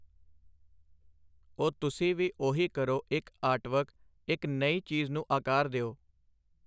ਉਹ ਤੁਸੀਂ ਵੀ ਉਹੀ ਕਰੋ ਇੱਕ ਆਰਟਵਰਕ ਇੱਕ ਨਈ ਚੀਜ਼ ਨੂੰ ਆਕਾਰ ਦਓ